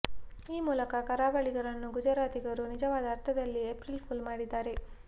ಈ ಮೂಲಕ ಕರಾವಳಿಗರನ್ನು ಗುಜರಾತಿಗರು ನಿಜವಾದ ಅರ್ಥದಲ್ಲಿ ಎಪ್ರಿಲ್ ಫೂಲ್ ಮಾಡಿದ್ದಾರೆ